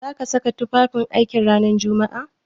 Za ka saka tufafin aiki ranar Jumma'a?